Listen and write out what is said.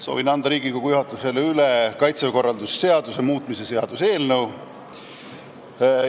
Soovin anda Riigikogu juhatusele üle Kaitseväe korralduse seaduse muutmise seaduse eelnõu.